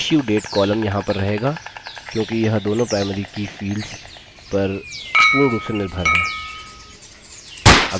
issuedate column यहाँ पर रहेगा क्योंकि यह दोनों primary की fields पर पूर्ण रूप से निर्भर है